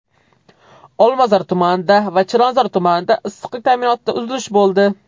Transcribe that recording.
Olmazor tumanida va Chilonzor tumanida issiqlik ta’minotida uzilish bo‘ldi.